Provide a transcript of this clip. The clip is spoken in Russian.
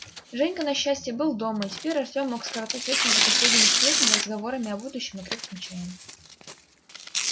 женька на счастье был дома и теперь артём мог скоротать вечер за последними сплетнями разговорами о будущем и крепким чаем